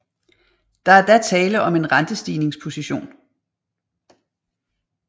Der er da tale om en rentestigningsposition